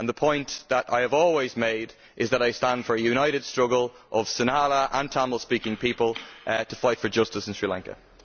The point that I have always made is that I stand for a united struggle of Sinhala and Tamil speaking people, to fight for justice in Sri Lanka.